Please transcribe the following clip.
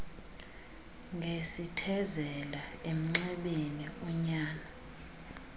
ngesithezela emnxebeni unyana